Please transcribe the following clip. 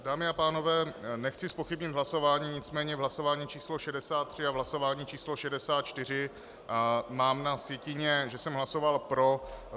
Dámy a pánové, nechci zpochybnit hlasování, nicméně v hlasování číslo 63 a v hlasování číslo 64 mám na sjetině, že jsem hlasoval pro.